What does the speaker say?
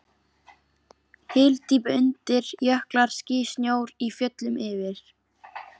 Hyldýpi undir, jöklar, ský, snjór í fjöllum yfir.